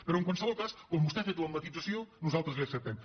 però en qualsevol cas com que vostè ha fet la matisació nosaltres la hi acceptem